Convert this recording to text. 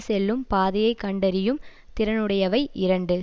செல்லும் பாதையை கண்டறியும் திறனுடையவை இரண்டு